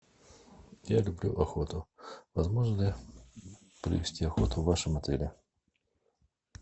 я люблю охоту возможно ли провести охоту в вашем отеле